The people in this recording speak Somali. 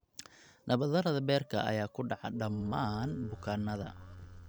Nabarrada beerka ayaa ku dhaca dhammaan bukaannada.